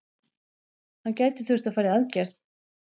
Hann gæti þurft að fara í aðgerð.